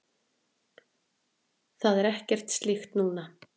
Það er ekkert slíkt núna.